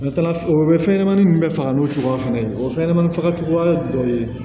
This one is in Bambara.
O bɛ fɛn ɲɛnɛmani min bɛ faga n'o cogoya fɛnɛ ye o fɛnɲɛnɛmanin fagacogoya dɔ ye